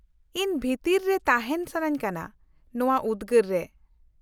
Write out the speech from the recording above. -ᱤᱧ ᱵᱷᱤᱛᱤᱨ ᱨᱮ ᱛᱟᱦᱮᱱ ᱥᱟᱹᱱᱟᱹᱧ ᱠᱟᱱᱟ ᱱᱚᱶᱟ ᱩᱫᱜᱟᱹᱨ ᱨᱮ ᱾